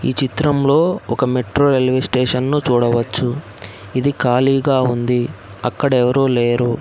ఈ చిత్రంలో ఒక మెట్రో రైల్వే స్టేషన్ ను చూడవచ్చు ఇది ఖాళీగా ఉంది అక్కడ ఎవరూ లేరు.